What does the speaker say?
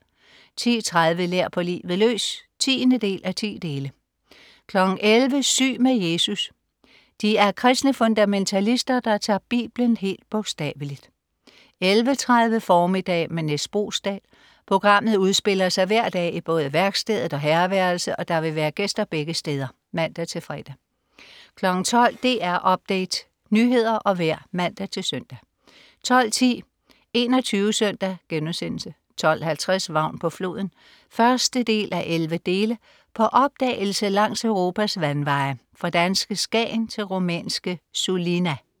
10.30 Lær på livet løs 10:10 11.00 Syg med Jesus. De er kristne fundamentalister, der tager biblen helt bogstavelig 11.30 Formiddag med Nis Boesdal. Programmet udspiller sig hver dag i både værkstedet og herreværelset, og der vil være gæster begge steder (man-fre) 12.00 DR Update. Nyheder og vejr (man-søn) 12.10 21 SØNDAG* 12.50 Vagn på floden 1:11. På opdagelse langs Europas vandveje, fra danske Skagen til rumænske Sulina